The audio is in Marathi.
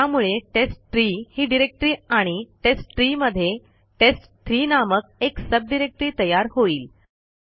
त्यामुळे टेस्टट्री ही डिरेक्टरी आणि टेस्टट्री मध्ये टेस्ट3 नामक एक सब डिरेक्टरी तयार होईल